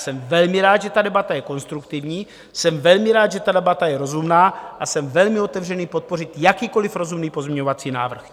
Jsem velmi rád, že ta debata je konstruktivní, jsem velmi rád, že ta debata je rozumná, a jsem velmi otevřený podpořit jakýkoli rozumný pozměňovací návrh.